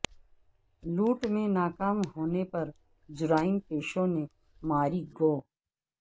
لوٹ میں ناکام ہونے پر جرائم پیشوں نے ماری گو